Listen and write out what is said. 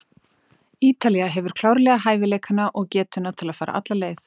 Ítalía hefur klárlega hæfileikana og getuna til að fara alla leið.